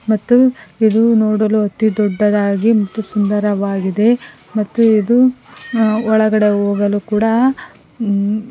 ಮತ್ತು ಇದು ನೋಡಲು ಅತಿ ದೊಡ್ಡದಾಗಿ ಮತ್ತು ಸುಂದರವಾಗಿದೆ ಮತ್ತು ಇದು ಅ ಒಳಗಡೆ ಹೋಗಲು ಕೂಡ ಊ --